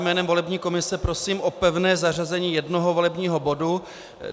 Jménem volební komise prosím o pevné zařazení jednoho volebního bodu.